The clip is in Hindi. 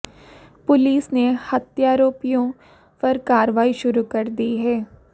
पुलिस ने हत्यारोपियों पर कार्रवाई शुरू कर दी है